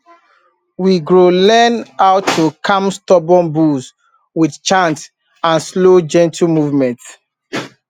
we grow learn how to calm stubborn bulls with chant and slow gentle movement